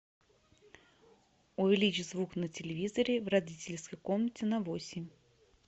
увеличь звук на телевизоре в родительской комнате на восемь